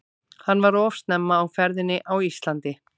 Hann var of snemma á ferðinni á Íslandi.